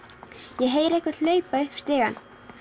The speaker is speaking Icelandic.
ég heyri einhvern hlaupa upp stigann